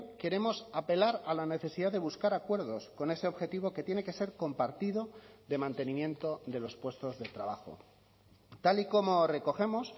queremos apelar a la necesidad de buscar acuerdos con ese objetivo que tiene que ser compartido de mantenimiento de los puestos de trabajo tal y como recogemos